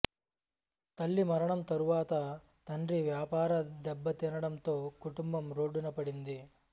తల్లి మరణం తర్వాత తండ్రి వ్యాపారం దెబ్బతినడంతో కుటుంబం రోడ్డున పడింది